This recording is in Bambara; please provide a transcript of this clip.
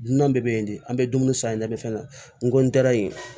Dunan bɛɛ bɛ yen de an bɛ dumuni san de fɛn na n ko n taara yen